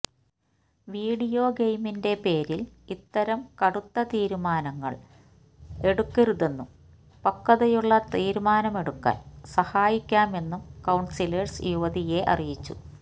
video ഗെയിമിന്റെ പേരില് ഇത്തരം കടുത്ത തീരുമാനങ്ങള് എടുക്കരുതെന്നും പക്വതയുള്ള തീരുമാനമെടുക്കാന് സഹായിക്കാമെന്നും കൌണ്സിലേര്സ് യുവതിയെ അറിയിച്ചു